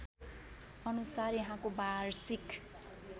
अनुसार यहाँको वार्षिक